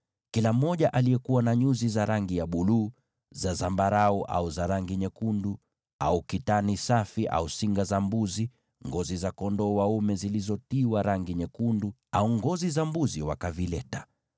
Kila mmoja aliyekuwa na nyuzi za rangi ya buluu, za zambarau, au za rangi nyekundu au kitani safi, au singa za mbuzi, ngozi za kondoo dume zilizotiwa rangi nyekundu, au ngozi za pomboo, wakavileta.